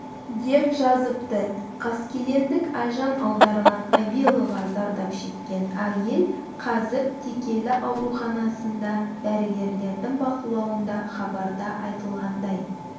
деп жазыпты қаскелеңдік айжан аударған абилова зардап шеккен әйел қазір текелі ауруханасында дәрігерлердің бақылауында хабарда айтылғандай